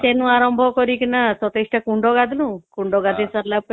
ଵେନୁ ଆରମ୍ଭ କରିକିନା ୨୭ ଟା କୁଣ୍ଡ ଗାଧେଇଲୁ କୁଣ୍ଡ ଗାଧେଇ ସରିଲା ପରେ